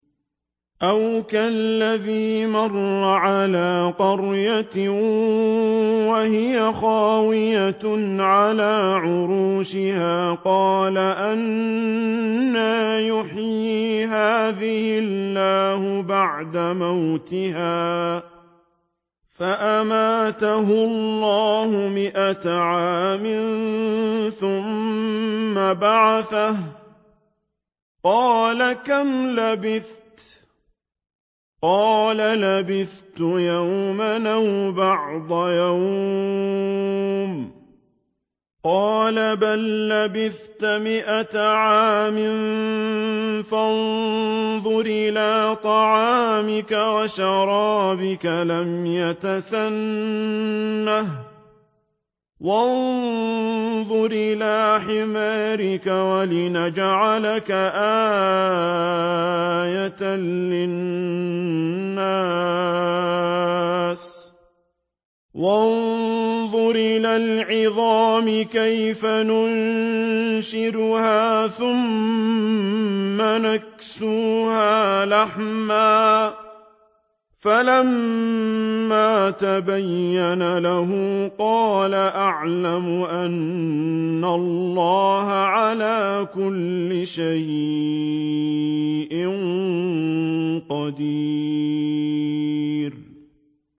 أَوْ كَالَّذِي مَرَّ عَلَىٰ قَرْيَةٍ وَهِيَ خَاوِيَةٌ عَلَىٰ عُرُوشِهَا قَالَ أَنَّىٰ يُحْيِي هَٰذِهِ اللَّهُ بَعْدَ مَوْتِهَا ۖ فَأَمَاتَهُ اللَّهُ مِائَةَ عَامٍ ثُمَّ بَعَثَهُ ۖ قَالَ كَمْ لَبِثْتَ ۖ قَالَ لَبِثْتُ يَوْمًا أَوْ بَعْضَ يَوْمٍ ۖ قَالَ بَل لَّبِثْتَ مِائَةَ عَامٍ فَانظُرْ إِلَىٰ طَعَامِكَ وَشَرَابِكَ لَمْ يَتَسَنَّهْ ۖ وَانظُرْ إِلَىٰ حِمَارِكَ وَلِنَجْعَلَكَ آيَةً لِّلنَّاسِ ۖ وَانظُرْ إِلَى الْعِظَامِ كَيْفَ نُنشِزُهَا ثُمَّ نَكْسُوهَا لَحْمًا ۚ فَلَمَّا تَبَيَّنَ لَهُ قَالَ أَعْلَمُ أَنَّ اللَّهَ عَلَىٰ كُلِّ شَيْءٍ قَدِيرٌ